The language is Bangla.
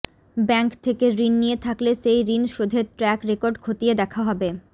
ব্যাঙ্ক থেকে ঋণ নিয়ে থাকলে সেই ঋণ শোধের ট্র্যাক রেকর্ড খতিয়ে দেখা হবে